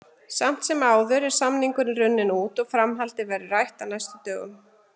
Samt sem áður er samningurinn runninn út og framhaldið verður rætt á næstu dögum.